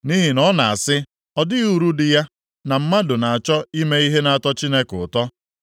Nʼihi na ọ na-asị, ‘Ọ dịghị uru dị ya na mmadụ na-achọ ime ihe na-atọ Chineke ụtọ.’ + 34:9 \+xt Mal 3:14\+xt*